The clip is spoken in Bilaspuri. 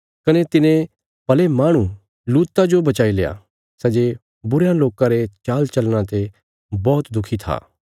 कने तिने भले माहणु लूता जो बचाईल्या सै जे बुरयां लोकां रे चालचलना ते बौहत दुखी था